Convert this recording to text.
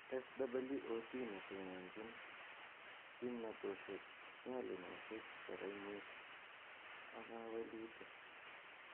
SWOT netononchin kimnatoshek, nyalunatoshek, barainwek ak kawelutik